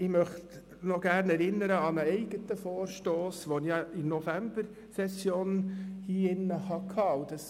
Ich möchte noch an einen eigenen Vorstoss erinnern, der in der Novembersession beraten wurde.